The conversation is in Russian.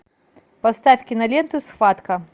поставь киноленту схватка